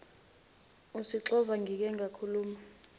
usixova ngike ngakhuluma